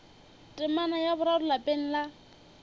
temana ya boraro lapeng la